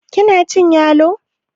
kina cin yalo?